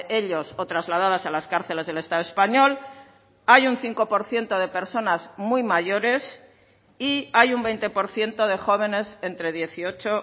ellos o trasladadas a las cárceles del estado español hay un cinco por ciento de personas muy mayores y hay un veinte por ciento de jóvenes entre dieciocho